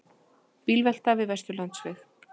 Bílvelta við Vesturlandsveg